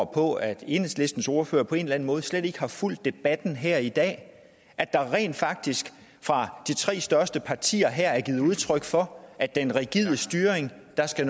på at enhedslistens ordfører på en eller anden måde slet ikke har fulgt debatten her i dag der er rent faktisk fra de tre største partier her givet udtryk for at den rigide styring skal